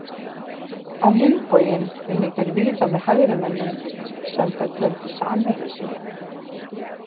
Á hinn bóginn unnu þeir víða með hægrimönnum sem þeir töldu samherja sína.